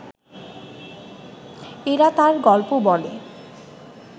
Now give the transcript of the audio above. এরা তাঁর গল্প বলে